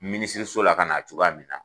Minisiriso la ka na'a cogoya min na.